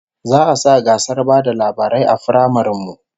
Za'a sa gasar ba da labarai a firamaren mu